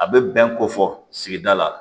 A bɛ bɛn ko fɔ sigida la